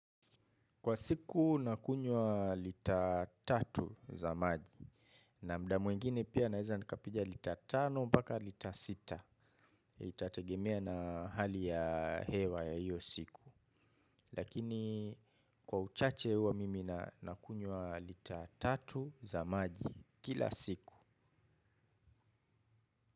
Kwa siku nakunywa lita tatu za maji. Na muda mwingine pia naeza nikapiga lita tano paka lita sita. Itategemea na hali ya hewa ya hiyo siku. Lakini kwa uchache huwa mimi nakunywa lita tatu za maji kila siku.